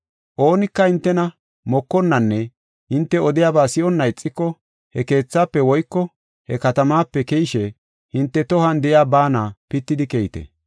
Oonika hintena mokonnanne hinte odiyaba si7onna ixiko he keethaafe woyko he katamaape keyishe hinte tohuwan de7iya baana pitidi keyite.